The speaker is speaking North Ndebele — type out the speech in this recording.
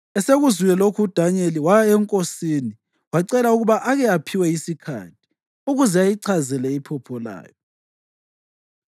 Esekuzwile lokho uDanyeli waya enkosini wacela ukuba ake aphiwe isikhathi, ukuze ayichazele iphupho layo.